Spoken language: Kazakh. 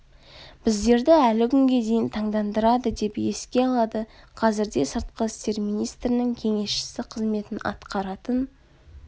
біздерді әлі күнге дейін таңдандырады деп еске алады қазірде сыртқы істер министрінің кеңесшісі қызметін атқаратын